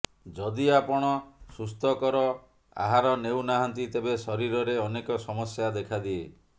ଯଦି ଆପଣ ସୁସ୍ଥକର ଆହାର ନେଉ ନାହାନ୍ତି ତେବେ ଶରୀରରେ ଅନେକ ସମସ୍ୟା ଦେଖାଦିଏ